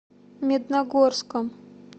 медногорском